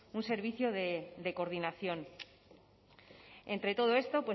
un servicio de coordinación entre todo esto